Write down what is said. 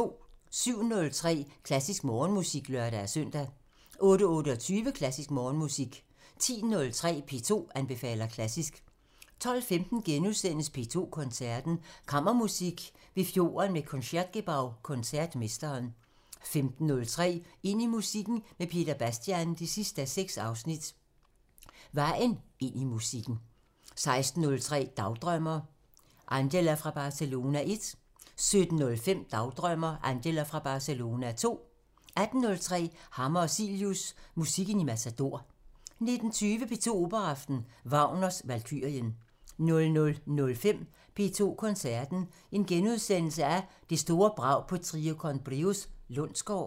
07:03: Klassisk Morgenmusik (lør-søn) 08:28: Klassisk Morgenmusik 10:03: P2 anbefaler klassisk 12:15: P2 Koncerten – Kammermusik ved fjorden med Concertgebouw-koncertmesteren * 15:03: Ind i musikken med Peter Bastian 6:6 – Vejen ind i musikken 16:03: Dagdrømmer: Angela fra Barcelona 1 17:05: Dagdrømmer: Angela fra Barcelona 2 18:03: Hammer og Cilius – Musikken i Matador 19:20: P2 Operaaften – Wagner: Valkyrien 00:05: P2 Koncerten – Det store brag på Trio con Brios Lundsgaard *